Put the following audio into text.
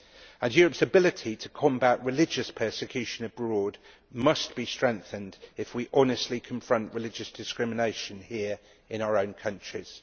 And Europeʼs ability to combat religious persecution abroad must be strengthened if we honestly confront religious discrimination here in our own countries.